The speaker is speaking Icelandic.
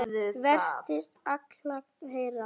Varstu að kalla, herra?